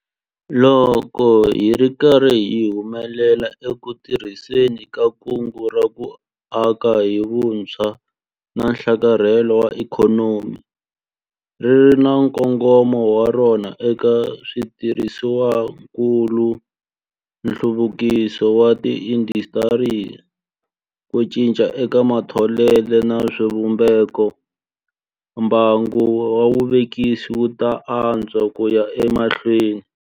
Loko hi ri karhi hi humelela eku tirhiseni ka Kungu ra ku Aka hi Vutshwa na Nhlakarhelo wa Ikhonomi - ri ri na nkongomo wa rona eka switirhisiwakulu, nhluvukiso wa tiindasitiri, ku cinca eka matholelo na swivumbeko - mbangu wa vuvekisi wu ta antswa ku ya emahlweni.